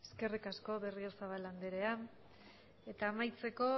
eskerrik asko berriozabal andrea eta amaitzeko